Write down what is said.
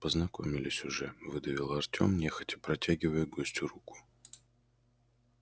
познакомились уже выдавил артем нехотя протягивая гостю руку